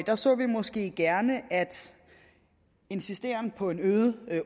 der så vi måske gerne at en insisteren på en øget